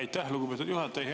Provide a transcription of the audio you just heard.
Aitäh, lugupeetud juhataja!